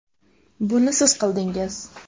Buni siz qildingiz.